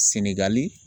Sengali